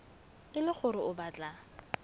e le gore o batla